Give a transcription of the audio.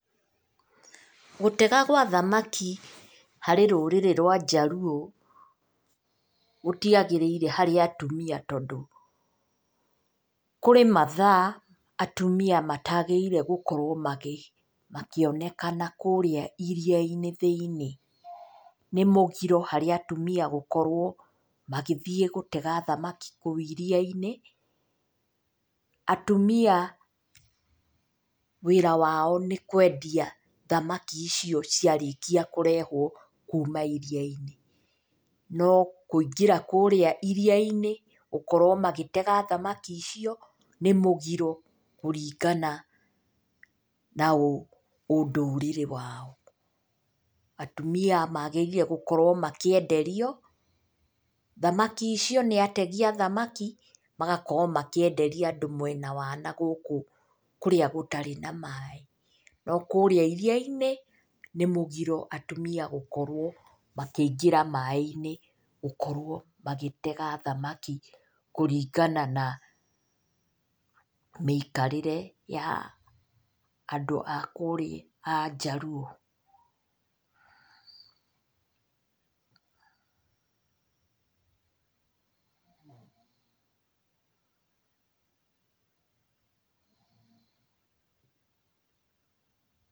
Gũtega gwa thamaki harĩ rũrĩrĩ rwa njaruo gũtiagĩrĩire harĩ atumia, tondũ kũrĩ mathaa atumia matagĩrĩire gũkorwo makĩonekana kũrĩa iria-inĩ thĩiniĩ. Nĩ mũgiro harĩ atumia gũkorwo magĩthiĩ gũtega thamaki kũu iria-inĩ. Atumia wĩra wao nĩ kwendia thamaki icio ciarĩkia kũrehwo kuma iria-inĩ, no kũingĩra kũrĩa iria-inĩ, gũkorwo magĩtega thamaki icio nĩ mũgiro kũringana na na ũndũrĩre wao. Atumia magĩrĩire gũkorwo makĩenderio thamaki icio nĩ ategi a thamaki, magakorwo makĩenderia andũ mwena wa na gũkũ kũrĩa gũtarĩ na maĩ. No kũrĩa iria-inĩ nĩ mũgiro atumia gũkorwo makĩingĩra maĩ-inĩ, gũkorwo magĩtega thamaki kũringana na mĩikarĩre ya andũ a kũrĩa a njaruo.